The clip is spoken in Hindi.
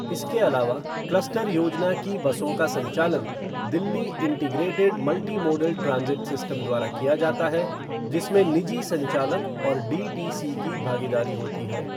इसके अलावा, क्लस्टर योजना की बसों का संचालन Delhi integrated multi modal transit system द्वारा किया जाता है, जिसमें निजी संचालक और डीटीसी की भागीदारी होती है।